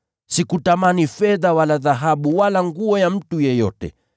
Sikutamani fedha wala dhahabu wala vazi la mtu yeyote.